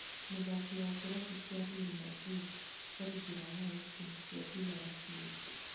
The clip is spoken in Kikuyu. Mũthaki wa kĩrabu kĩa Real Madrid Sergei Ramos kũhikia Pillar Rubio